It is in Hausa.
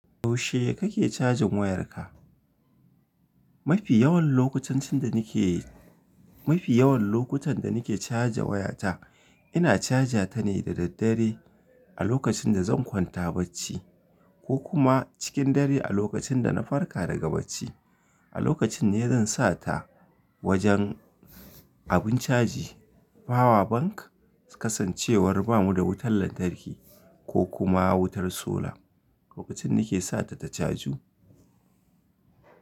Yaushe kake cajin wayarka? Mafi yawan lokutan cin da nake, mafi yawan lokutan da nake caja wayata. Ina caja ta ne da daddare. A lokacin da zan kwanta bacci ko kuma cikin dare a lokacin da na farka daga bacci. A lokacin ne zan sa ta wajen abin caji, power bank Kasancewar ba mu da wutar lantarki ko kuma wutar sola. Lokacin nake sa ta ta caju.